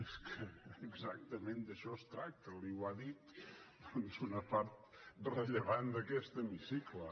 és que exactament d’això es tracta li ho ha dit una part rellevant d’aquest hemicicle